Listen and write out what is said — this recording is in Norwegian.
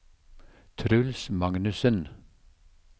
Truls Magnussen